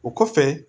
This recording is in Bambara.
O kɔfɛ